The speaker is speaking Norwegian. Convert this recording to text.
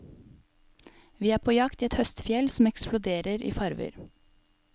Vi er på jakt i et høstfjell som eksploderer i farver.